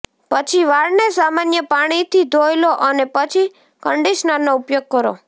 પછી વાળને સામાન્ય પાણીથી ધોઈ લો અને પછી કંડીશનરનો ઉપયોગ કરો